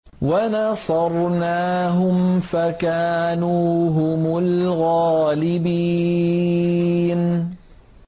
وَنَصَرْنَاهُمْ فَكَانُوا هُمُ الْغَالِبِينَ